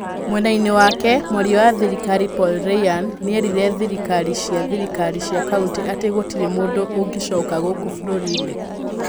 Mwena-ini wake, mwaria wa thirikari Paul Ryan nierire thirikaari cia thirikari cia kaunti ati gutiri mundu ungicoka guku bururi-ini.